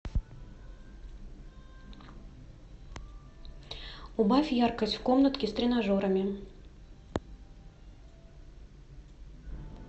убавь яркость в комнатке с тренажерами